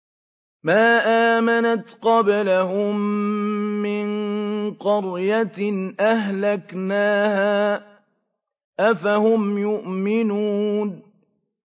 مَا آمَنَتْ قَبْلَهُم مِّن قَرْيَةٍ أَهْلَكْنَاهَا ۖ أَفَهُمْ يُؤْمِنُونَ